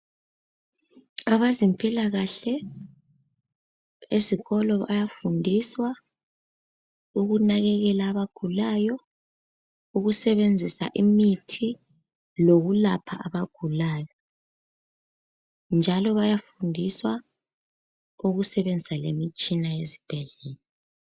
Abezimpilakahle esikolo bayafundiswa ukunakekela abagulayo ukusebenzisa imithi lokulapha abagulayo. Njalo bayafundiswa lokusebenzisa imitshina yesibhedlela.